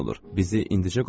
Bizi indicə qovarlar.